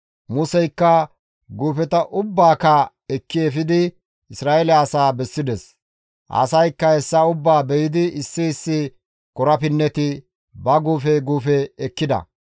Museykka guufeta ubbaaka ekki efidi Isra7eele asaa bessides; asaykka hessa ubbaa be7idi issi issi korapinneti ba guufe guufe ekkida.